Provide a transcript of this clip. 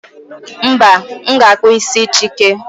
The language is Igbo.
mba, m ga-akpụ isi chike